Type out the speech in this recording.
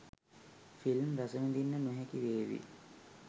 Film රසවිදින්න නොහැකි වේවි.